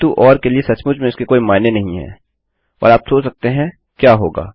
किन्तु ओर के लिए सचमुच में इसके कोई मायने नहीं है और आप सोच सकते हैं क्या होगा